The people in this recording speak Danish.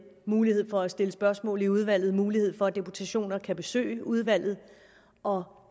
mulighed for at stille spørgsmål i udvalget mulighed for at deputationer kan besøge udvalget og